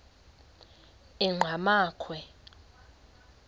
enqgamakhwe